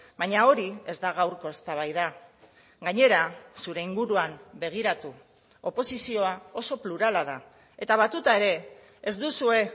baina hori ez da gaurko eztabaida gainera zure inguruan begiratu oposizioa oso plurala da eta batuta ere ez duzue